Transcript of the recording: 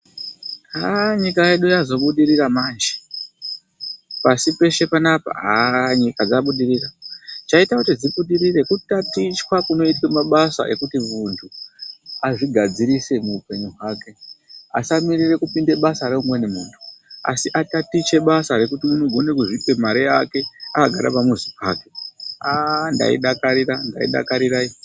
Nyika yedu yazobudirira manje pasi peshe panapa nyika yedu yabudirira chaita kuti ibudirire kutatichwa kunoitwa mabasa ekuti mundu azvigadzirise muhupenyu hwake asamirira kupinde basa reumweni mundu asi atatiche basa rekuti anogona kuzvipe mari yake akagara pamuzi pake ah ndaidakarira, ndaidakarira iyi.